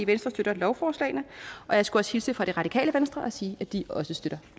venstre støtter lovforslagene og jeg skulle hilse fra det radikale venstre og sige at de også støtter